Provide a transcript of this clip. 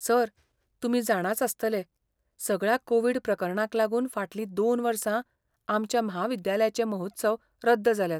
Sir, तुमी जाणाच आसतले, सगळ्या कोविड प्रकरणांक लागून फाटलीं दोन वर्सां आमच्या म्हाविद्यालयाचें महोत्सव रद्द जाल्यात.